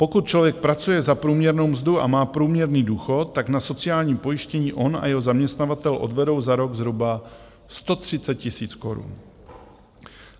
Pokud člověk pracuje za průměrnou mzdu a má průměrný důchod, tak na sociální pojištění on a jeho zaměstnavatel odvedou za rok zhruba 130 000 korun.